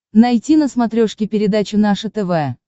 найти на смотрешке передачу наше тв